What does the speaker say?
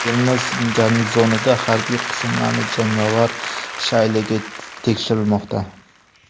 Termiz garnizonida harbiy qismlarning jangovar shayligi tekshirilmoqda .